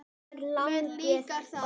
Mér líkar það.